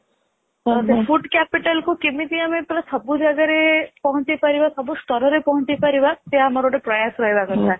food capital କେମିତି ଆମେ ସବୁ ଜାଗାରେ ପହଞ୍ଚେଇ ପାରିବା ସାବୁ ସ୍ତରରେ ପହଞ୍ଚେଇ ପାରିବା ସେ ଆମର ଗୋଟେ ପ୍ରୟାସ ରହିବା କଥା